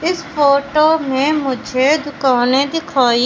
इस फोटो में मुझे दुकाने दिखाई --